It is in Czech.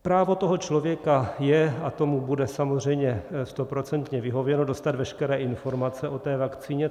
Právo toho člověka je, a tomu bude samozřejmě stoprocentně vyhověno, dostat veškeré informace o té vakcíně.